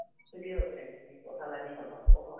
free ଅଛେ ତୁମି କଥା ଲାଗି ହଁବା କହ